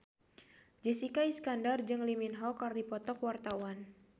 Jessica Iskandar jeung Lee Min Ho keur dipoto ku wartawan